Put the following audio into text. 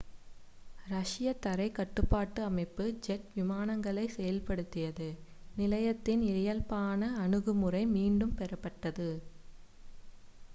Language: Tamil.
ரஷ்ய தரைக் கட்டுப்பாட்டு அமைப்பு ஜெட் விமானங்களைச் செயல்படுத்தியது நிலையத்தின் இயல்பான அணுகுமுறை மீண்டும் பெறப்பட்டது